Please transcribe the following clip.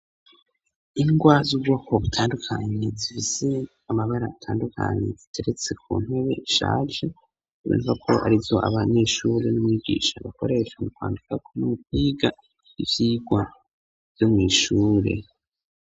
Ingwa z'ubwoko butandukanye zifise amabara atandukanye ziteretse ku ntebe ishaje biva ko arizo abanyeshuri n'umwigisha bakoresha mu kwandikako no mukwiga ivyigwa vyo mwishure